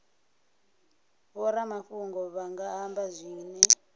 vhoramafhungo vha nga amba zwine